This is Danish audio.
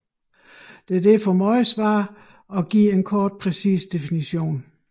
Det er derfor meget svært at give en kort præcis definition